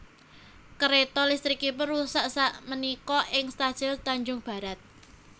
Kereto listrikipun rusak sak menika ing stasiun Tanjung Barat